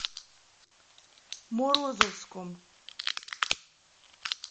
морозовском